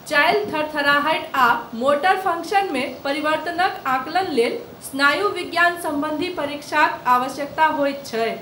चालि, थरथराहटि आ मोटर फङ्कशनमे परिवर्त्तनक आकलन लेल, स्नायु विज्ञान सम्बन्धी परीक्षाक, आवश्यकता होइत छैक।